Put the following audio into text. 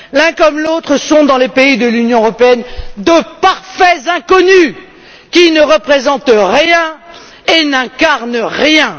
L'un comme l'autre sont dans les pays de l'Union européenne de parfaits inconnus qui ne représentent rien et n'incarnent rien!